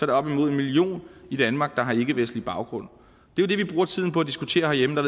det op imod en million i danmark der har ikkevestlig baggrund det er det vi bruger tiden på at diskutere herhjemme og